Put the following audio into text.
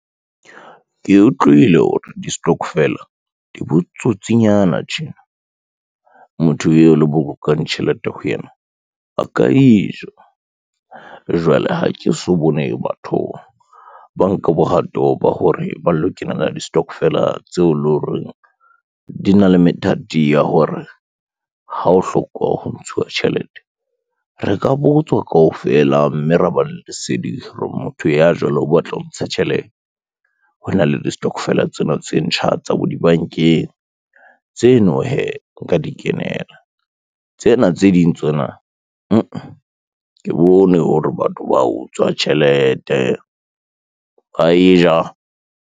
Ke utlwile hore di-stokvel di botsotsinyana tjena. Motho eo le bolokang tjhelete ho yena a ka e ja, jwale ha ke so bone batho ba nka bohato ba hore ba lo kenela di-stokvel-a tseo lo reng di na le methati ya hore ha o hloka ho ntshuwa tjhelete, re ka botswa kaofela mme ra ba le lesedi hore motho ya jwalo o batla ho ntsha tjhelete. Ho na le di-stokvel-a tsena tse ntjha tsa bo dibankeng tseno hee nka di kenela tsena tse ding tsona mmh, ke bone hore batho ba utswa tjhelete ba e ja.